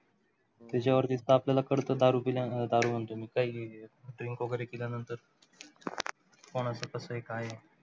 त्याच्यावरती तापलेल्या कडक अं दारु म्हणतो मी, प्यालेली आहे, drink वगैरे केल्यानंतर कोणाचं कसं आहे, काय आहे?